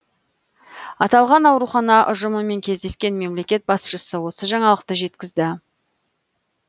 аталған аурухана ұжымымен кездескен мемлекет басшысы осы жаңалықты жеткізді